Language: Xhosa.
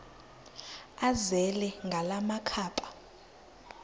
azele ngala makhaba